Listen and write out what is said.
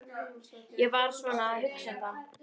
Ég var svona að hugsa um það.